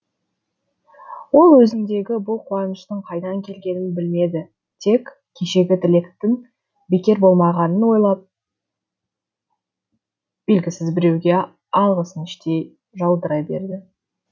ол өзіндегі бұл қуаныштың қайдан келгенін білмеді тек кешегі тілектің бекер болмағанын ойлап белгісіз біреуге алғысын іштей жаудыра берді